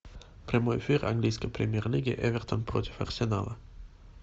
прямой эфир английской премьер лиги эвертон против арсенала